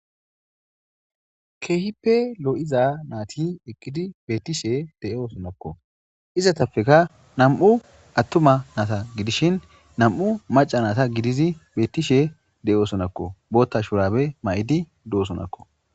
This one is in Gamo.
keehippe lo7iza naati eqqidi beettishe de7oosonakko izatappeka nam7u attuma naata gidishin nam7u maca naata gidizi beettishe de7oosonakko bootta shurabe ma7idi doosonakko